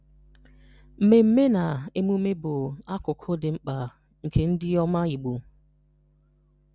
Mmemme na emume bu akụkụ dị mkpa nke ndị ọma Igbo.